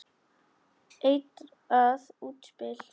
Eitrað útspil.